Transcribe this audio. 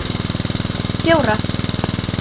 fjóra